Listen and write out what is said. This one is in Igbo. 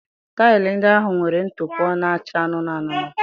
Taịlị ndị ahụ nwere ntụpọ na-acha anụnụ anụnụ